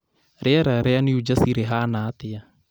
rĩera rĩa new jersey rĩhana atĩa